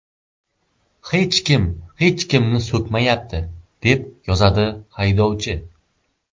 Hech kim hech kimni so‘kmayapti”, deb yozadi haydovchi.